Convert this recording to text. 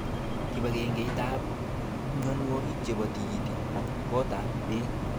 Kipagenge it ab mnyonwokik chebo tikitik. kot ab bek.